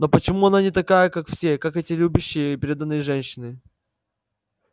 но почему она не такая как все как эти любящие преданные женщины